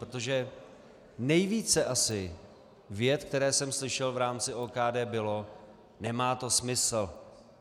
Protože nejvíce asi vět, které jsem slyšel v rámci OKD, bylo: "Nemá to smysl.